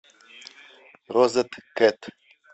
розеткед